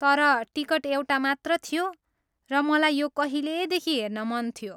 तर टिकट एउटा मात्र थियो, र मलाई यो कहिलेदेखि हेर्न मन थियो।